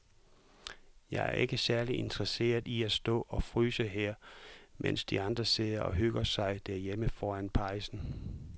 Jeg er ikke særlig interesseret i at stå og fryse her, mens de andre sidder og hygger sig derhjemme foran pejsen.